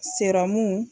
Serɔmu